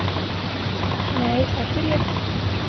Nei það geri ég ekki.